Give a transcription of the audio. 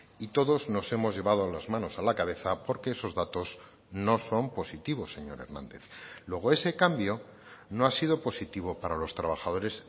y todos nos hemos llevado las manos a la cabeza porque esos datos no son positivos señor hernández luego ese cambio no ha sido positivo para los trabajadores